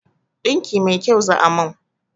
Ɗinki mai kyau za a min